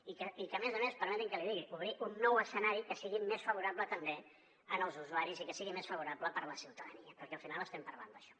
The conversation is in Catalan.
i a més a més permeti’m que l’hi digui obrir un nou escenari que sigui més favorable també als usuaris i que sigui més favorable per a la ciutadania perquè al final estem parlant d’això